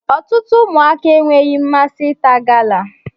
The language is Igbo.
Ọtụtụ ụmụaka enweghị mmasị ịta gala